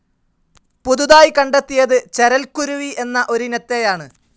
പുതുതായി കണ്ടെത്തിയത് ചരൽക്കുരുവി എന്ന ഒരിനത്തെയാണ്.